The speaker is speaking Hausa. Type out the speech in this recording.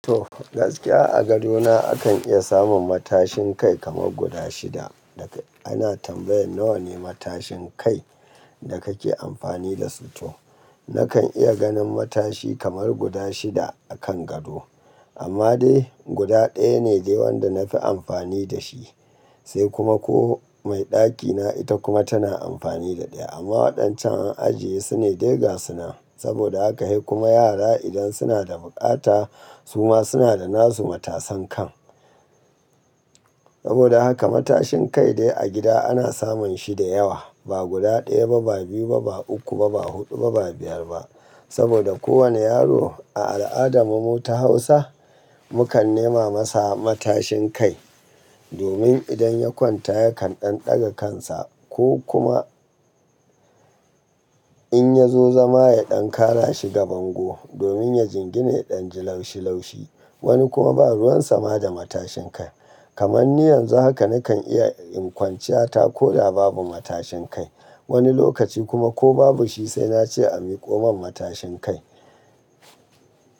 To, gaskiya a gadona akan iya samun matashin kai kamar guda shida. Daka ana tambayan nawa ne matashin kai da kake amfani dasu to. Nakan iya ganin matashi kamar guda shida a kan gado. Amma dai guda ɗaya ne dai wanda nafi amfani da shi. Sai kuma koh mai ɗakina ita kuma tana amfani da ɗaya. Amma waɗancan an ajiye sune dai ga sunan saboda haka, sai kuma yara idan suna da buƙata su ma suna da nasu matasan kan. Saboda haka matashin kai dai a gida ana samun shi da yawa. Ba guda ɗaya ba, ba biyu ba, ba uku ba, ba hudu ba, ba biyar ba. Saboda kowane yaro a al'adarmu ta Hausa, mukan nema masa matashin kai. Domin idan ya kwanta yakan ɗan daga kansa ko kuma in ya zo zama ya ɗan kara shiga bango. Domin ya jingine ɗan ji laushi laushi. Wani kuma ba ruwan sama da matashin kai. Kamanni yanzu haka nakan iya in kwanciya ta ko da babu matashin kai. Wani lokaci kuma ko babu shi sai nace a miƙo min matashin kai.